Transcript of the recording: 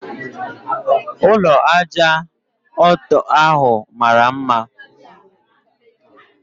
Ụlọ ájá ọtọ ahụ mara mma